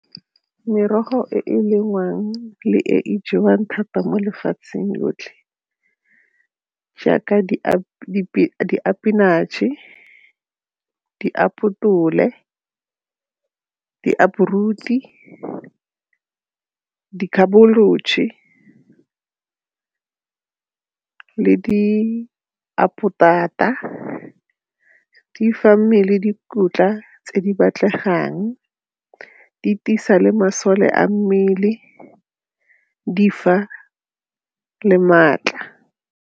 Merogo e e lengwang le e e jewang thata mo lefatsheng lotlhe jaaka di di fa mmele dikotla tse di batlegang, di tiisa le masole a mmele di fa le maatla.